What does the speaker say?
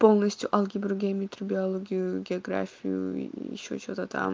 полностью алгебру геометрию биологию географию и ещё что-то там